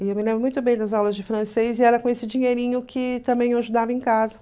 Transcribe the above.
E eu me lembro muito bem das aulas de francês e era com esse dinheirinho que também eu ajudava em casa.